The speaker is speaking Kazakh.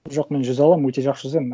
жоқ мен жүзе аламын өте жақсы жүземін